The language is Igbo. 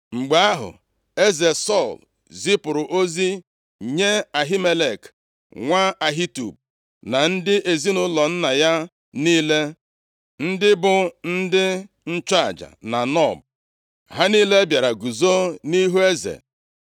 Mgbe ahụ, eze Sọl zipụrụ ozi nye Ahimelek nwa Ahitub na ndị ezinaụlọ nna ya niile, ndị bụ ndị nchụaja na Nob. Ha niile bịara guzo nʼihu eze.